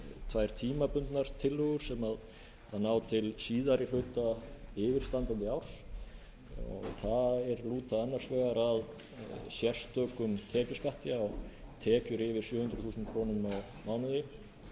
tvær tímabundnar tillögur sem ná til síðari hluta yfirstandandi árs þær lúta annars vegar að sérstökum tekjuskatti á tekjum yfir sjö hundruð þúsund krónur á mánuði sem nemur